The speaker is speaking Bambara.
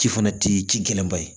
Ci fana ti ci gɛlɛn ba ye